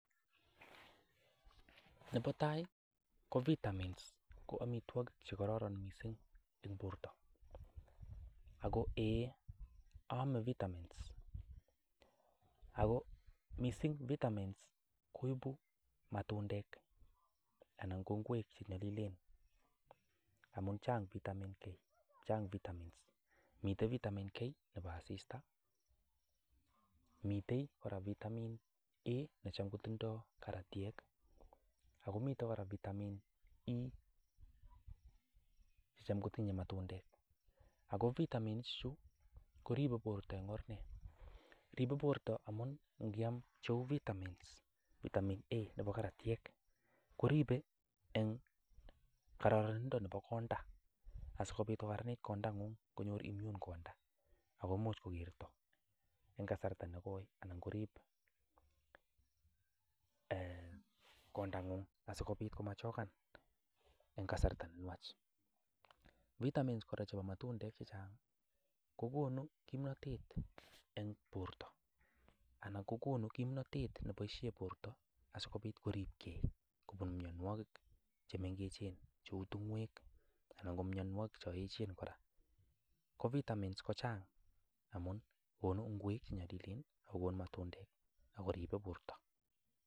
Nebo tai ko vitamins ko amitwogik che kororon mising en borto, ago eeiy aame vitamins ago mising vitamins koibu matundek anan ko ngwek che nyolilen amun chang vitamin-K, chang vitamin-C miten vitamin-K nebo asista, miten kora vitamin-A necham kotindo karatyet ago miten kora Vitamin-E necham kotinye matundek. Ago vitamins ichu koribe borto en or nee? Ribe borto amun nge'am cheu vitamin-A nebo karatyet koribe en kororindo nebo konda asikobit kogaranit kondang'ung konyor immune konda agomuch kogerto en kasarta negoi anan korib kondang'ung asikobit komachokan en kasarta ne nwach vitamins kora chebo matundek kogonu kimnatet en borto anan kogonu kimnatet neboishe borto asikobit koripge kobun mianwogik che mengechen cheu tung'oek anan ko mianwogik chon eechen kora. Ko bitamens kochang amun konu ngwek che nyolilen ago konu matundek ago ribe borto.